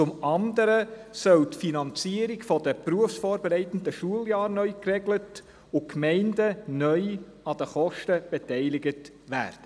Zum anderen soll die Finanzierung der berufsvorbereitenden Schuljahre neu geregelt und die Gemeinden neu an den Kosten beteiligt werden.